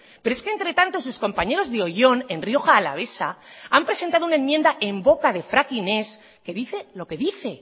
pero es que entre tanto sus compañeros de oion en rioja alavesa han presentado una enmienda en boca de fracking ez que dice lo que dice